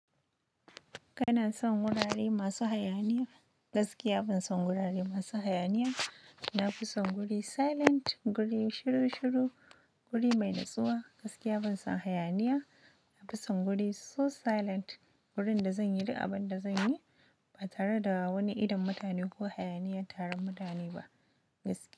Kana son wurare masu hayaniya? Gaskiya ban son wurare masu hayaniya. Na fi son guri silent, guri shiru-shiru, guri mai natsuwa. Gaskiya ban son hayaniya. Na fi son guri so silent. Gurin da zan yi duk abin da zan yi ba tare da wani idon mutane ko hayaniyan taron mutane ba. Gaskiya.